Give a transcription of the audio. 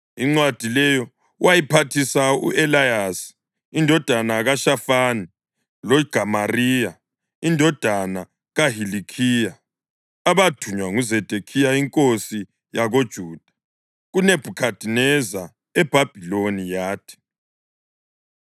Incwadi leyo wayiphathisa u-Eleyasa indodana kaShafani loGemariya indodana kaHilikhiya, abathunywa nguZedekhiya inkosi yakoJuda kuNebhukhadineza eBhabhiloni. Yathi: